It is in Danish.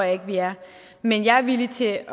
ikke vi er men jeg er villig til at